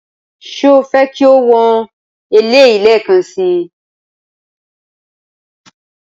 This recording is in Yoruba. Ṣé o fẹ́ kí o wọn eléyìí lẹ́ẹ̀kan si?